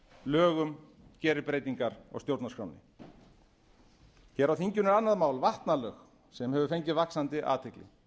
lögum gerir breytingar á stjórnarskránni hér er annað mál vatnalög sem hefur fengið vaxandi athygli